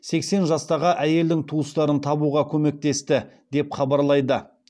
сексен жастағы әйелдің туыстарын табуға көмектесті деп хабарлайды